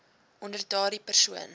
onder daardie persoon